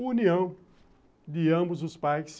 A união de ambos os pais.